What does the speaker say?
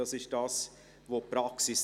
Das zeigt die Praxis.